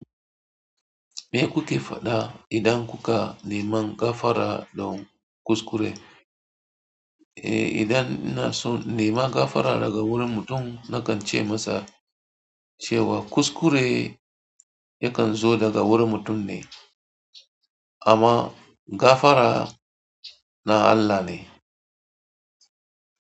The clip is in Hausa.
Me kuke faɗa idan kuka neman gafara don kuskure? Eh, idan ina so in nema gafara daga wurin mutum nakan ce masa cewa kuskure yakan zo daga wurin mutum ne amma gafara na Allah ne.